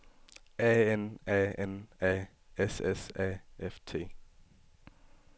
A N A N A S S A F T